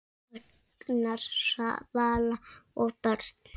Agnar, Svala og börn.